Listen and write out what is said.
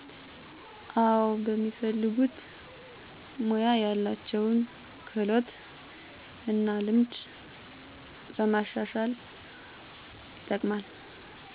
አዎ፦ በሚፈልጉት ሙያ ያላቸውን ክህሎት እና ልምድ ለማሻሻል ይጠቀማል።